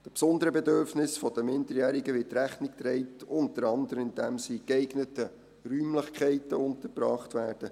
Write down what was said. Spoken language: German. Den besonderen Bedürfnissen der Minderjährigen wird Rechnung getragen, unter anderem indem sie in geeigneten Räumlichkeiten untergebracht werden.